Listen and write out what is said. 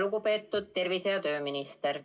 Lugupeetud tervise- ja tööminister!